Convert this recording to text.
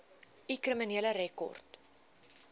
u kriminele rekord